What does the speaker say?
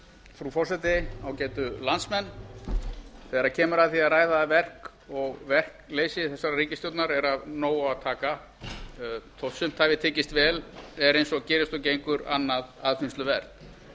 frú forseti ágætu landsmenn þegar kemur að því að ræða verk og verkleysi þessarar ríkisstjórnar er af nógu að taka þótt sumt hafi tekist vel er eins og gerist og gengur annað aðfinnsluvert